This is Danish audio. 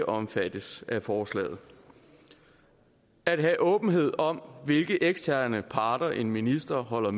omfattes af forslaget at have åbenhed om hvilke eksterne parter en minister holder